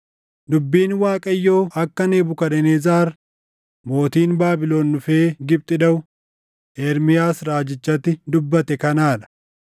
“Dubbiin Waaqayyo akka Nebukadnezar mootiin Baabilon dhufee Gibxi dhaʼu Ermiyaas raajichatti dubbate kanaa dha: